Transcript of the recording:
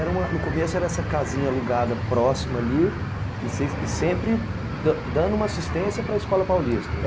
Era uma, no começo era essa casinha alugada, próxima ali, e sempre dando dando uma assistência para a Escola Paulista, é